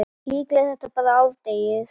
Líklega er þetta bara árdegis